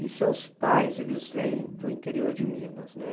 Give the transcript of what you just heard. E seus pais, eles vêm do interior de Minas, né?